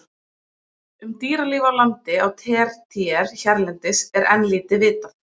Um dýralíf á landi á tertíer hérlendis er enn lítið vitað.